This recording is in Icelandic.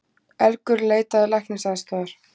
Elgur leitaði læknisaðstoðar